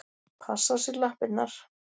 Passa á sér lappirnar.